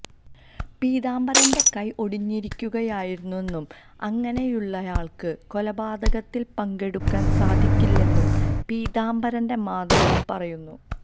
പീതാംബരന്റെ കൈ ഒടിഞ്ഞിരിക്കുകയായിരുന്നെന്നും അങ്ങനെയുള്ളയാള്ക്ക് കൊലപാതകത്തില് പങ്കെടുക്കാന് സാധിക്കില്ലെന്നും പീതാബരന്റെ മാതാവും പറയുന്നു